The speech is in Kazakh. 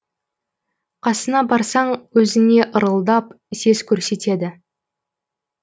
қасына барсаң өзіңе ырылдап сес көрсетеді